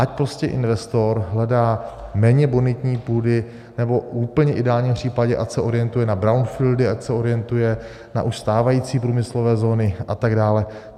Ať prostě investor hledá méně bonitní půdy, nebo v úplně ideálním případě ať se orientuje na brownfieldy, ať se orientuje na už stávající průmyslové zóny a tak dále.